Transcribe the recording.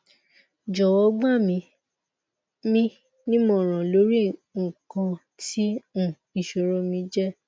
jọwọ gba mi mi nimọran lori ikan ti um iṣoro mi je